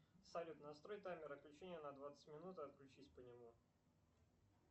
салют настрой таймер отключения на двадцать минут и отключись по нему